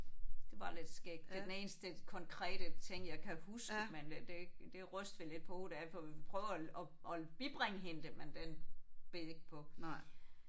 Det var lidt skægt. Det er den eneste konkrete ting jeg kan huske men øh det det er ikke det rystede vi lidt på hovedet af for vi prøvede at at bibringe hende det men den bed ikke på